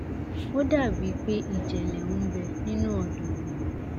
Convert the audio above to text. ó dà bíi pé ìjẹlẹ ń bẹ nínú ọdọ mi